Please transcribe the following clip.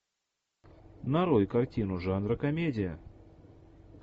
нарой картину жанра комедия